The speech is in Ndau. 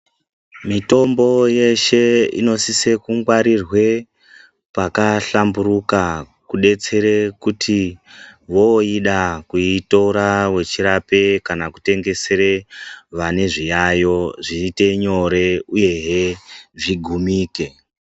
Mitombo yeshe inosise ku ngwarirwe paka hlamburuka kudetsere kuti woida kuitora wechi rape kana kutengesere vane zviyayo zviite nyore uyehe zvigumike.